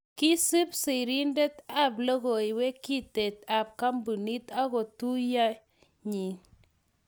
kiisub serintet ab logoiwek kintee ab kambunit akoi tuiyee nyii